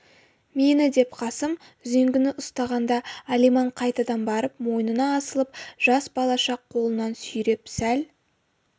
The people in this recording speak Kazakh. мені деп қасым үзеңгіні ұстағанда алиман қайтадан барып мойнына асылып жас балаша қолынан сүйреп сәл